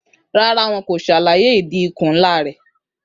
Rárá, wọn kò ṣàlàyé ìdí ikùn ńlá rẹ̀.